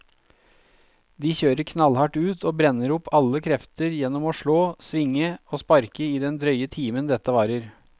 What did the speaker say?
De kjører knallhardt ut og brenner opp alle krefter gjennom å slå, svinge og sparke i den drøye timen dette varer.